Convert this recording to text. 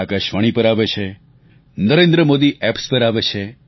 આકાશવાણી પર આવે છે નરેન્દ્ર મોદી એપ્સ પર આવે છે